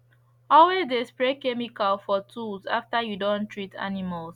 always de spray chemical for tools after you don treat animals